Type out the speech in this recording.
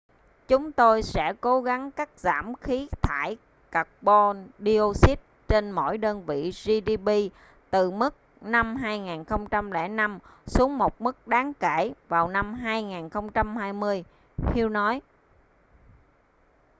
"chúng tôi sẽ cố gắng cắt giảm khí thải các-bon đioxit trên mỗi đơn vị gdp từ mức năm 2005 xuống một mức đáng kể vào năm 2020 hu nói.